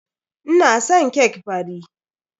Ina son cake fari.